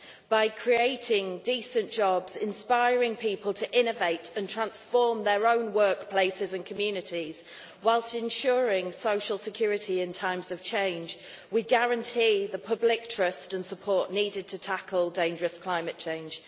By creating decent jobs, inspiring people to innovate and transform their own workplaces and communities, whilst ensuring social security in times of change, we guarantee the public trust and support needed to tackle dangerous climate change.